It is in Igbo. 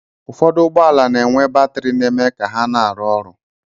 Ụfọdụ ụgbọala na-enwe batrị na-eme ka ha na-arụ ọrụ.